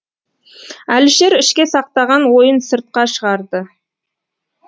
әлішер ішке сақтаған ойын сыртқа шығарды